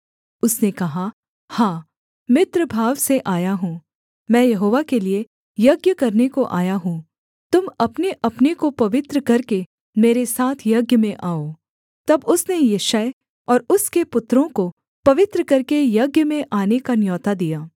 उसने कहा हाँ मित्रभाव से आया हूँ मैं यहोवा के लिये यज्ञ करने को आया हूँ तुम अपनेअपने को पवित्र करके मेरे साथ यज्ञ में आओ तब उसने यिशै और उसके पुत्रों को पवित्र करके यज्ञ में आने का न्योता दिया